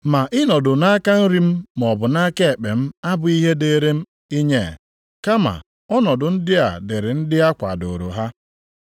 Ma ịnọdụ nʼaka nri m maọbụ nʼaka ekpe m abụghị ihe dịrị m inye, kama ọnọdụ ndị a dịịrị ndị a kwadooro ha.”